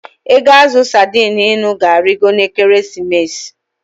Ego azụ sadi ịnụ ga-arịgo n'Ekeresimesi.